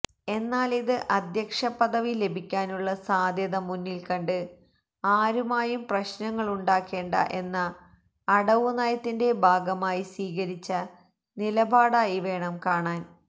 എന്നാലിത് അധ്യക്ഷ പദവി ലഭിക്കാനുള്ള സാധ്യത മുന്നിൽക്കണ്ട് ആരുമായും പ്രശ്നങ്ങളുണ്ടാക്കേണ്ട എന്ന അടവുനയത്തിന്റെ ഭാഗമായി സ്വീകരിച്ച നിലപാടായി വേണം കാണാൻ